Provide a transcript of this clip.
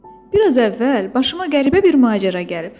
Bir az əvvəl başıma qəribə bir macəra gəlib.